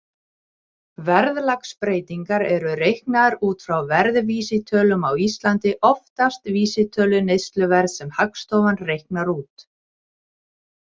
Verðlagsbreytingar eru reiknaðar út frá verðvísitölum, á Íslandi oftast vísitölu neysluverðs sem Hagstofan reiknar út.